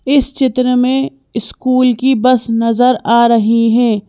इस चित्र में स्कूल की बस नजर आ रही है।